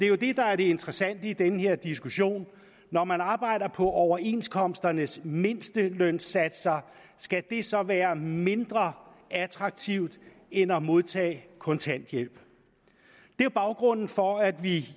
jo det der er det interessante i den her diskussion når man arbejder på overenskomsternes mindstelønsatser skal det så være mindre attraktivt end at modtage kontanthjælp det var baggrunden for at vi